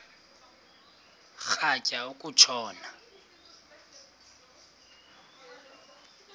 rhatya uku tshona